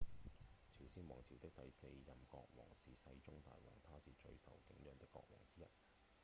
朝鮮王朝的第四任國王是世宗大王他是最受景仰的國王之一